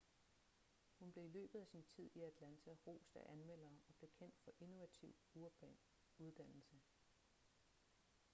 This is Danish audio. hun blev i løbet af sin tid i atlanta rost af anmeldere og blev kendt for innovativ urban uddannelse